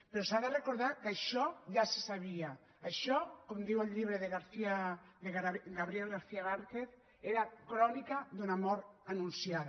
però s’ha de recordar que això ja se sabia això com diu el llibre de gabriel garcía márquez era crònica d’una mort anunciada